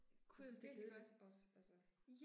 Jeg synes det er kedeligt også, altså